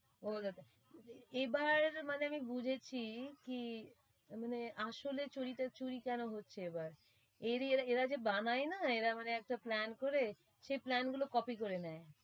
এবার মানে আমি বুঝেছি কি আসলে চুরিটা চুরি কেন হচ্ছে এবার। এরই এরা, এরা যে বানায় না এরা মানে একটা plan করে সেই plan গুলো copy করে নেয়।